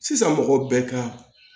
Sisan mɔgɔ bɛɛ ka